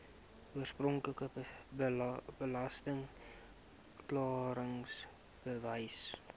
oorspronklike belasting klaringsbewys